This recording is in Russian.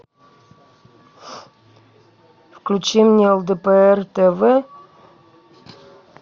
включи мне лдпр тв